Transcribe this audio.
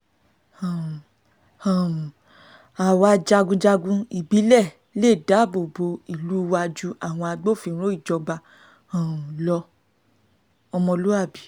um àwa jagunjagun ìbílẹ̀ lè dáàbò bo ìlú wa ju àwọn agbófinró ìjọba um lọ-ọmọlúàbí